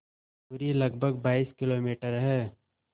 दूरी लगभग बाईस किलोमीटर है